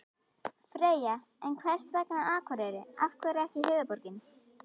Freyja: En hvers vegna Akureyri, af hverju ekki höfuðborgin?